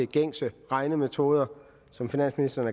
gængse regnemetoder som finansministeren